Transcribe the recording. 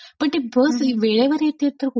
पण ती बस वेळेवर येतेय तर कुठली;